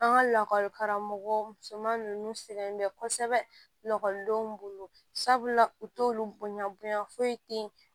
An ka lakɔli karamɔgɔ musoman ninnu sɛgɛn bɛ kosɛbɛ lakɔlidenw bolo sabula u t'olu bonya bonya foyi tɛ yen